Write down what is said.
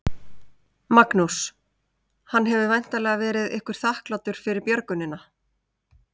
Magnús: Hann hefur væntanlega verið ykkur þakklátur fyrir björgunina?